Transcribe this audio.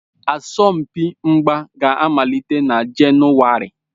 Asọmpi mgba ga-amalite na Jenụwarị.